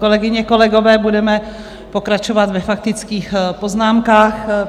Kolegyně, kolegové, budeme pokračovat ve faktických poznámkách.